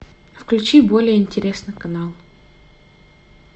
включи более интересный канал